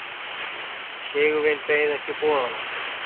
Sigurvin beið ekki boðanna.